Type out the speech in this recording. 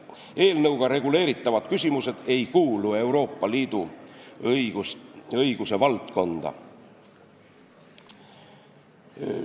Eelnõuga reguleeritavad küsimused ei kuulu Euroopa Liidu õiguse valdkonda.